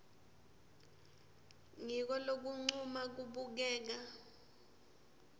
ngiko lokuncuma kubukeka